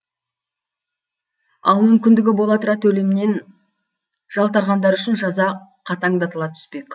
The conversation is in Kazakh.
ал мүмкіндігі бола тұра төлемнен жалтарғандар үшін жаза қатаңдатыла түспек